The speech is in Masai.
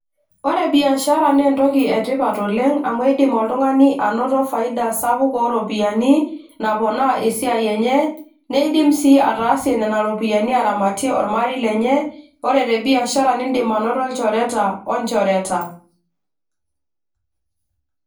Ore biashara naa entoki etipat oleng amu eidim oltung'ani anoto faida sapuk ooropiyiani naponaa esiai enye neidim sii ataasie nena ropiyiani aramatie ormarei lenye ore tebiashara nindim anoto ilchoreata onchoreta.